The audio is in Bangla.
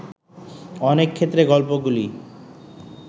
অনেক ক্ষেত্রে গল্পগুলি